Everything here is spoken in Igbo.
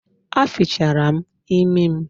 A fichara m imi m